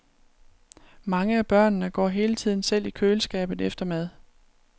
Mange af børnene går hele tiden selv i køleskabet efter mad.